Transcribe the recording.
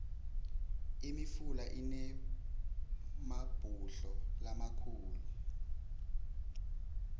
imifula inemabhudlo lamakhulu